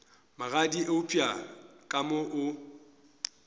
magadi eupša ka mo o